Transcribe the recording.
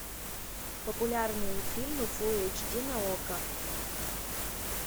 популярные фильмы фулл эйч ди на окко